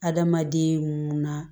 Adamaden mun na